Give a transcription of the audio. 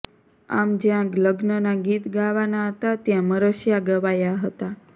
આમ જ્યાં લગ્નના ગીત ગાવાના હતા ત્યાં મરસીયા ગવાયા હતા